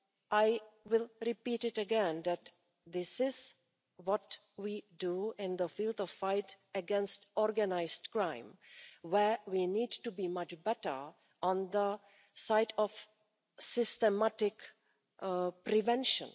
I will repeat again that this is what we do in the field of the fight against organised crime, where we need to be much better on the side of systematic prevention.